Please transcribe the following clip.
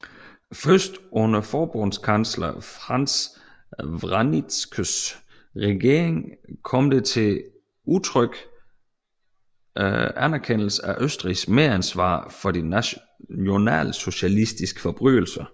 Først under forbundskansler Franz Vranitzkys regering kom det til en udtrykt erkendelse af Østrigs medansvar for de nationalsocialistiske forbrydelser